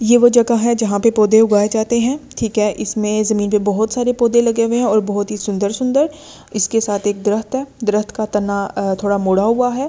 ये वो जगह है जहां पे पौधे उगाए जाते हैं ठीक है इसमें जमीन पर बहुत सारे पौधे लगे हुए हैं और बहुत ही सुंदर- सुंदर इसके साथ एक दरख्त है दरख्त का तना थोड़ा मोड़ा हुआ है।